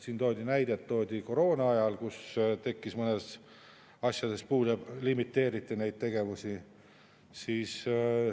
Siin toodi näide koroonaajast, kus tuli mõnedest asjadest puudu, ja limiteeriti neid.